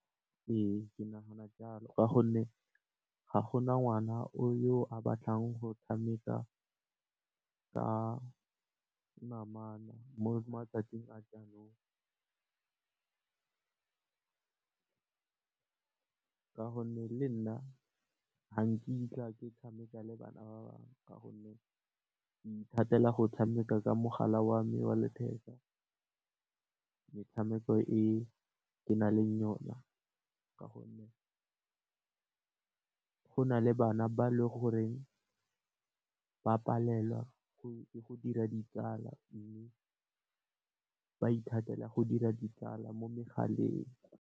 Ee, ke nagana jalo ka gonne, ga gona ngwana yo a batlang go tshameka ka namana mo matsatsing a jaanong. Ka gonne le nna ga nkitla ke tshameka le bana ba bangwe ka gonne, ke ithatela go tshameka ka mogala wa me wa letheka, metshameko e ke na leng yona ka gonne, go na le bana ba le gore ba palelwa ke go dira ditsala mme, ba ithatela go dira ditsala mo megaleng.